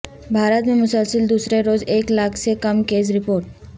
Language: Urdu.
بھارت میں مسلسل دوسرے روز ایک لاکھ سے کم کیسز رپورٹ